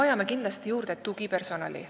Meil on kindlasti vaja juurde tugipersonali.